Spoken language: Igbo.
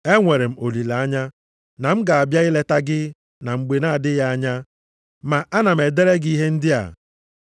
Enwere m olileanya na m ga-abịa ileta gị na mgbe na-adịghị anya, ma ana m edere gị ihe ndị a.